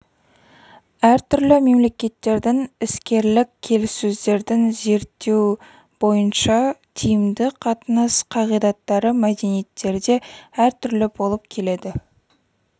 әртүрлі мемлекеттердің іскерлік келіссөздерін зерттеу бойынша тиімді қатынас қағидаттары мәдениеттерде әртүрлі болып келеді